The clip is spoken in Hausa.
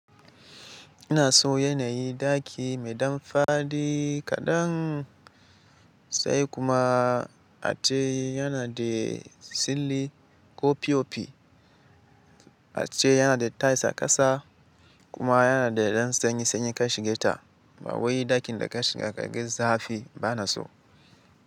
Ina so yanayi daki mai dam fadi kadan sai kuma atai yana da silli ko pop. Ace yana da tais a kasa kuma yana da ɗan sanyi sanyi ka shige ta. Bawai ɗakin da ka shiga ka ga zafi ba na so.